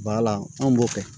anw b'o kɛ